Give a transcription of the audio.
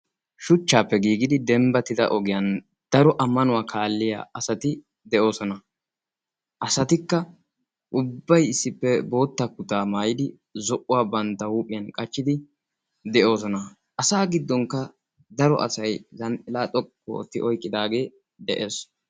Shuchchaappe giigidi dembbatida ogiyan daro ammanuwaa kaalliya asati de'oosona. Asatikka ubbay issippe bootta kutaa maayidi zo'uwaa bantta huuphiyan qachchidi de'oosona. Asa giddonkka daro asay zhanxila xoqqu ootti oyqqidaagee de'ees.